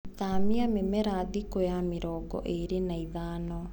Thamia mĩmera thikũ ya mĩrongo ĩri na ithano.